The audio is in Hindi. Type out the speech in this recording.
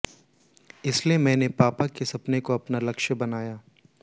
इसलिए मैंने पापा के सपने को अपना लक्ष्य बनाया